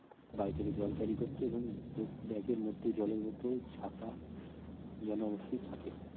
বাড়ি থেকে জল carry করতে এবং ব্যাগের মধ্যে জলের বোতল ছাতা যেন অবশ্যই থাকে